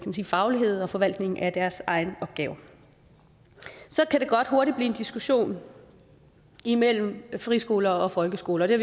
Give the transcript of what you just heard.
til faglighed og forvaltning af deres egne opgaver så kan det godt hurtigt blive en diskussion imellem friskoler og folkeskoler det